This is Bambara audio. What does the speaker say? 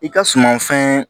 I ka suman fɛn